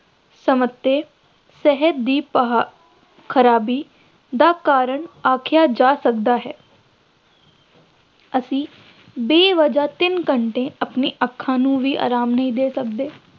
ਸਿਹਤ ਦੀ ਅਹ ਖਰਾਬੀ ਦਾ ਕਾਰਨ ਆਖਿਆ ਜਾ ਸਕਦਾ ਹੈ ਅਸੀਂ ਬੇਵਜ੍ਹਾ ਤਿੰਨ ਘੰਟੇ ਆਪਣੀਆਂ ਅੱਖਾਂ ਨੂੰ ਵੀ ਆਰਾਮ ਨਹੀਂ ਦੇ ਸਕਦੇ